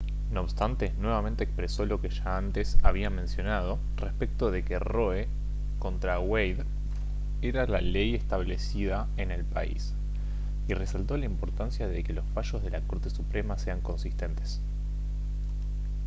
no obstante nuevamente expresó lo que ya antes había mencionado respecto de que roe contra wade era la «ley establecida en el país» y resaltó la importancia de que los fallos de la corte suprema sean consistentes